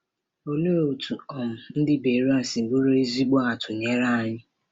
Òlee otú um ndị Beroea siri bụrụ ezigbo atụnyere anyị?